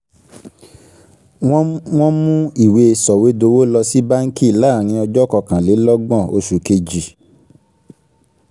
wọ́n wọ́n mú ìwé sọ̀wédowó lọ sí báǹkì láàrín ọjọ́ kọkànlélọ́gbọ̀n oṣù kejìl